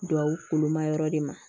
Duwawu ma yɔrɔ de ma